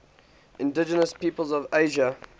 indigenous peoples of asia